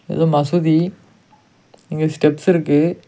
ஏதோ மசூதி இங்க ஸ்டெப்ஸ் இருக்கு.